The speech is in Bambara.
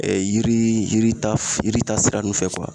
yiri yiri yirit yiri ta sira nunnu fɛ